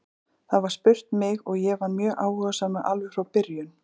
Það var spurt mig og ég var mjög áhugasamur alveg frá byrjun.